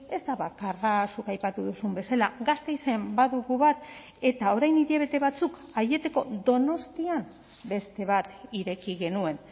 ez da bakarra zuk aipatu duzun bezala gasteizen badugu bat eta orain hilabete batzuk aieteko donostian beste bat ireki genuen